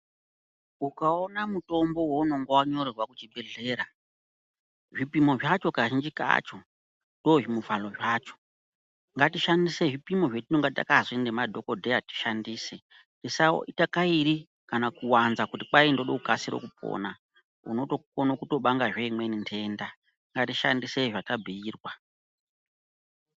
Ukaona mutombo vaunonga vanyorerwa kuchibhedhlera zvipimo zvacho kazhinji kacho ndozvimivhalo zvacho. Ndatishandise zvipimo zvatinenge takazi nemadhogodheya tishandise tisaita kairi kana kuwanza kuti kai ndoda kukasira kupona unokona kutobangazve imweni nhenda, ngatishandise zvatabhuirwa.